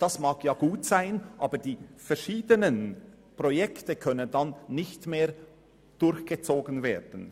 Das mag ja gut sein, aber die verschiedenen Projekte können dann nicht mehr durchgezogen werden.